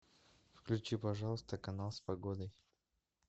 включи пожалуйста канал с погодой